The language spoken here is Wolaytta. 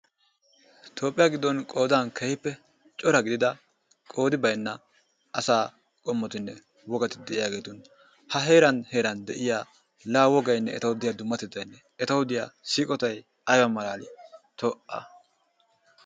Toophiya giddon qoodan keehippe cora gidida qoodi baynna asaa qommotinne wogati de'iyaageeti. A heeran heeran de'iyaa la wogaynne etawu de'iyaa dummatettay, etawu diyaa siiqottay aybba malaali, ta'a!